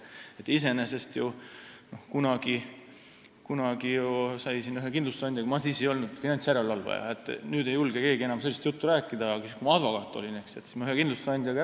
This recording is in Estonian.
Iseenesest kunagi, kui ma ei olnud finantsjärelevalvaja, vaid olin advokaat – nüüd ei julge keegi minuga enam sellist juttu rääkida –, siis ma rääkisin ühe kindlustusandjaga.